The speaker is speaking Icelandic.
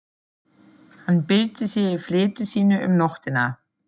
Hann bylti sér í fleti sínu um nóttina.